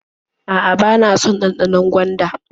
A'a, bana son ɗanɗanon gwanda.